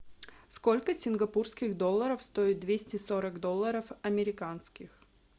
сколько сингапурских долларов стоит двести сорок долларов американских